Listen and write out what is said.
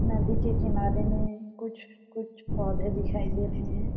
नदी के किनारे में कुछ-कुछ पौधे दिखाई दे रहै है।